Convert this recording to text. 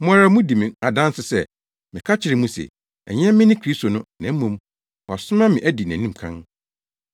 Mo ara mudi me adanse sɛ meka kyerɛɛ mo se, ‘Ɛnyɛ me ne Kristo no na mmom wɔasoma me adi nʼanim kan.’